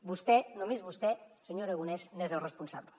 vostè només vostè senyor aragonès n’és el responsable